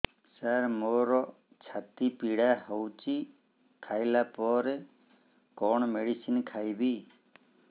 ସାର ମୋର ଛାତି ପୀଡା ହଉଚି ଖାଇବା ପରେ କଣ ମେଡିସିନ ଖାଇବି